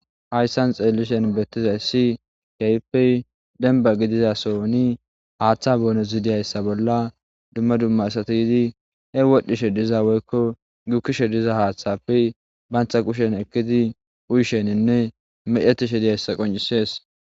hayssan xeellishen beettizayssi keyppe denba gidizasoni haaththa boono zidiyayssa bolla dumma dumma asati yidi he wodhdhishe diza weykko gukkishe diza haaththappe bantta qushen ekkidi uysheninne mecetishe diyayssa qoncisees